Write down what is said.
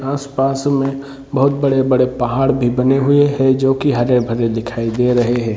आसपास में बहुत बड़े बड़े पहाड़ भी बने हुए है जो की हरेभरे दिखाई दे रहे है।